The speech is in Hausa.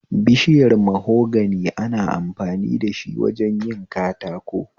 Bishiyar mahogani ana amfani dashi wajen yin katako